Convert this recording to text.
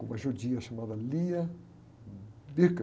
Com uma judia chamada.